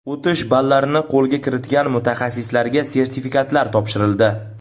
O‘tish ballarini qo‘lga kiritgan mutaxassislarga sertifikatlar topshirildi.